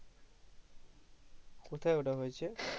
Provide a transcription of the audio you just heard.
কোথায় ওটা হয়েছে